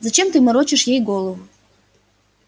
зачем ты морочишь ей голову